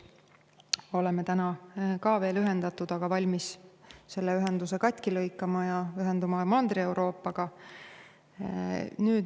Oleme täna ka veel ühendatud, aga nüüd valmis selle ühenduse katki lõikama ja ühenduma Mandri-Euroopaga.